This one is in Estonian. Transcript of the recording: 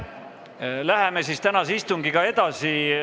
Läheme siis tänase istungiga edasi.